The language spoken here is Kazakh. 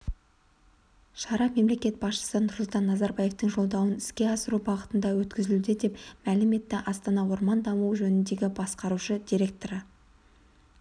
шара мемлекет басшысы нұрсұлтан назарбаевтың жолдауын іске асыру бағытында өткізілуде деп мәлім етті астана орманы даму жөніндегі басқарушы директоры